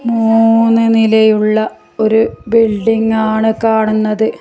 മൂന്ന് നില ഉള്ള ഒരു ബിൽഡിങ്ങാണ് കാണുന്നത്.